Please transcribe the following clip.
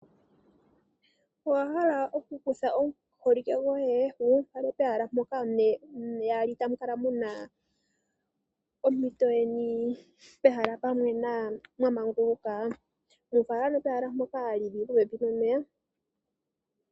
Owahala okukutha omuholike goye wu mufale pehala mpoka ne yaali tamu lala Muna ompito yeni mehala pwamwena mwa manguluka? Mufala ano pehala ndoka lili popepi nomeya.